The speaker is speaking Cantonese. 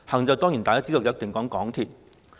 眾所周知，"行"一定是指港鐵。